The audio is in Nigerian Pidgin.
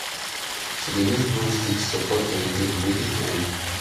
she dey use broom stick support vegetable wey dey climb